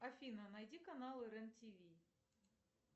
афина найди канал рен тв